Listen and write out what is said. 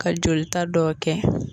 Ka jolita dɔw kɛ